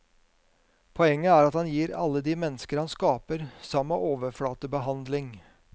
Poenget er at han gir alle de mennesker han skaper, samme overflatebehandling.